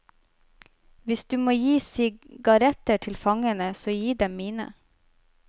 Hvis du må gi sigaretter til fangene så gi dem mine.